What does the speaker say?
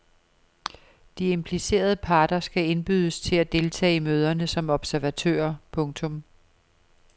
De implicerede parter skal indbydes til at deltage i møderne som observatører. punktum